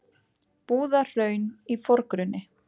Búðahraun í forgrunni.